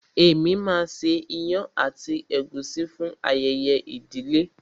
Èmi máa ṣe ìyàn àti ègúsí fún ayẹyẹ ìdílé náà.